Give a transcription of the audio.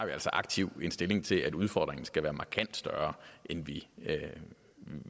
altså aktivt stilling til at udfordringen skal være markant større end vi